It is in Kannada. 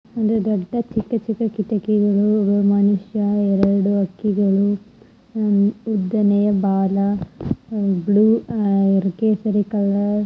ಒಂದು ದೊಡ್ಡ ಚಿಕ್ಕ-ಚಿಕ್ಕ ಕಿಟಕಿಗಳು ಒಬ್ಬ ಮನುಷ್ಯ ಎರಡು ಹಕ್ಕಿಗಳು ಅಹ್ ಉದ್ದನೆಯ ಬಾಲ ಬ್ಲೂ ಅಹ್ ಕೇಸರಿ ಕಲರ್